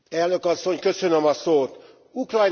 Ukrajnában a helyzet változatlan.